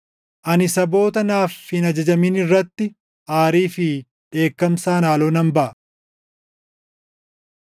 Ani saboota naaf hin ajajamin irratti aarii fi dheekkamsaan haaloo nan baʼa.”